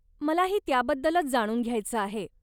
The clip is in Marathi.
मलाही त्याबद्दलच जाणून घ्यायचं आहे.